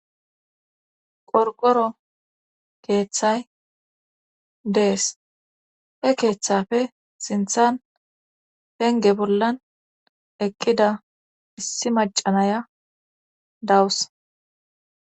qorgoro keeththay dees e keeththafe sinthan penge bollan eqqida issi macanaya dawus